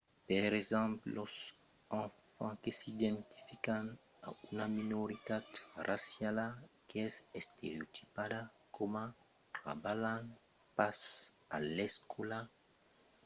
per exemple los enfants que s’identifican a una minoritat raciala qu’es estereotipada coma trabalhant pas a l'escòla tendon a pas trabalhar plan a l’escòla tre que son assabentats de l’estereotip associat amb lor raça